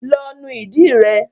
Lọ nu ìdí rẹ.